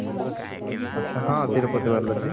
ଆଚ୍ଛା ହଁ ତିରୁପତି ବାଲାଜୀ